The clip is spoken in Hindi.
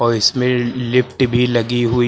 और इसमें लिफ्ट भी लगी हुई--